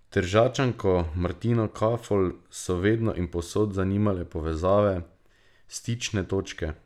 Tržačanko Martino Kafol so vedno in povsod zanimale povezave, stične točke.